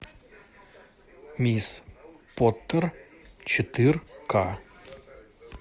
мисс поттер четыре ка